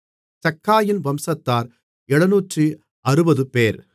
சக்காயின் வம்சத்தார் 760 பேர்